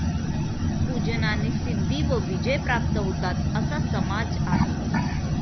पूजनाने सिद्धी व विजय प्राप्त होतात असा समाज आहे.